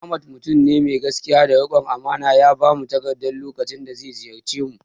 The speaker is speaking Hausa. Ahmad mutum ne mai gaskiya da riƙon amana, ya bamu takarda lokacin da ziyarce mu